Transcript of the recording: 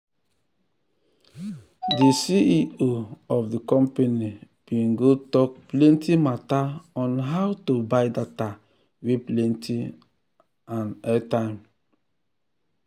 de cfo um of de company bin go tok plenty mata on how to buy data wey plenty and airtime.